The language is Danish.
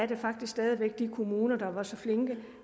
det faktisk stadig væk er de kommuner der var så flinke